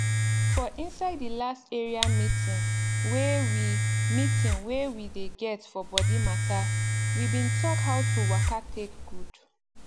for inside the last area meeting wey we meeting wey we dey get for body matter we bin talk how to waka take gud